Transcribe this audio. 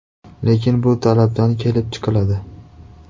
Lekin bu talabdan kelib chiqiladi.